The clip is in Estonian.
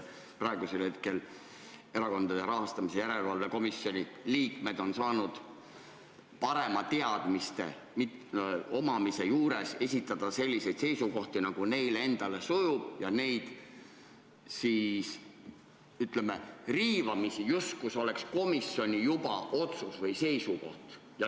Praegu on Erakondade Rahastamise Järelevalve Komisjoni liikmed on saanud oma parema teadmise kohaselt esitada selliseid seisukohti, nagu neile endale sobib, ja neid siis, ütleme, riivamisi serveerida, justkui need oleks komisjoni seisukohad.